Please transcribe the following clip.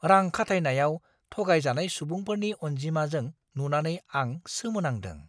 रां-खाथायनायाव थगायजानाय सुबुंफोरनि अन्जिमाजों नुनानै आं सोमोनांदों!